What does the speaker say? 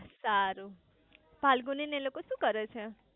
સારું ફાલ્ગુની ને એ લોકો શુ કરે છે